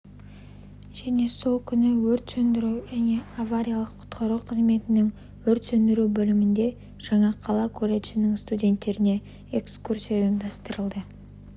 және сол күні өрт сөндіру және авариялық-құтқару қызметінің өрт сөндіру бөлімінде жаңақала колледжінің студенттеріне экскурсия ұйымдастырылды